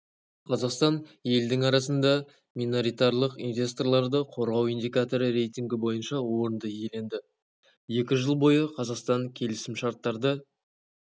қазақстан елдің арасында миноритарлық инвесторларды қорғау индикаторы рейтингі бойынша орынды иеленді екі жыл бойы қазақстан келісімшарттарды